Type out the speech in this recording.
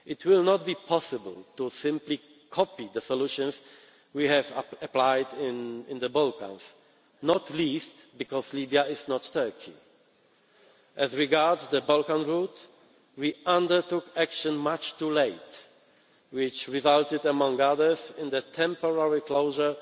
they request it. It will not be possible to simply copy the solutions we have applied in the Balkans, not least because Libya is not Turkey. As regards the Balkan route, we undertook action much too late, which resulted among other things in the